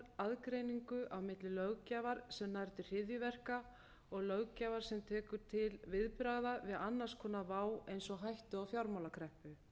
aðgreiningu á milli löggjafar sem nær til hryðjuverka og löggjafar sem tekur til viðbragða við annars konar vá eins og hættu á fjármálakreppu